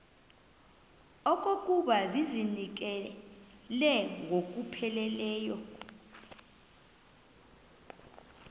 okokuba ndizinikele ngokupheleleyo